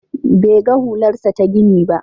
Bai ga hularsa ta gini ba.